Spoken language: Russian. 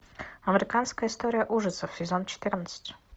американская история ужасов сезон четырнадцать